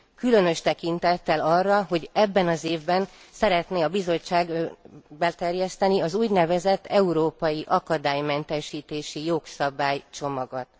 Különös tekintettel arra, hogy ebben az évben szeretné a Bizottság beterjeszteni az úgynevezett Európai Akadálymentesítési Jogszabálycsomagot.